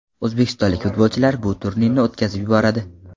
O‘zbekistonlik futbolchilar bu turni o‘tkazib yuboradi.